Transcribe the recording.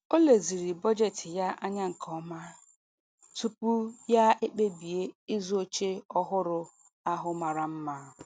O leziri bọjetị ya anya nke ọma tupu ya ekpebizie ịzụ oche ọhụrụ ahụ mara mma.